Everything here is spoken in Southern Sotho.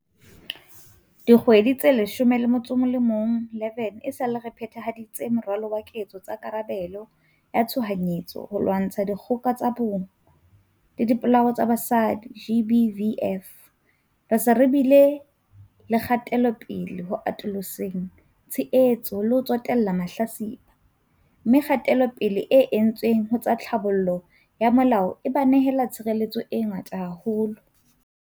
Dikgwedi tse 11 esale re phe-thahaditse Moralo wa Ketso tsa Karabelo ya Tshohanyetso ho lwantsha dikgoka tsa bong le dipolao tsa basadi, GBVF, re se re bile le kgatelopele ho atoloseng tshehetso le ho tsotella mahlatsipa, mme kgatelopele e entsweng ho tsa tlhabollo ya molao e ba nehela tshireletso e ngata haholo.